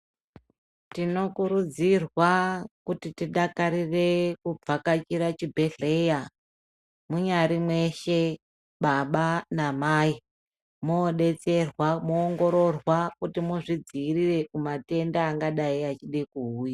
Tinokurudzirwa kuti tidakarire kuvhakachira chibhedhlera, munyari mweshe baba na mai mobetserwa moongororwa kuti muzvidzivirire kuma tenda angadai achide kuuya.